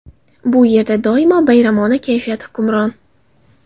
Bu yerda doimo bayramona kayfiyat hukmron .